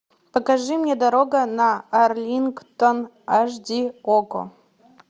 покажи мне дорога на арлингтон аш ди окко